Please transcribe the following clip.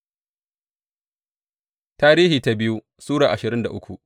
biyu Tarihi Sura ashirin da uku